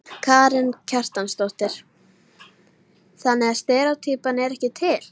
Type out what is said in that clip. Karen Kjartansdóttir: Þannig að steríótýpan er ekki til?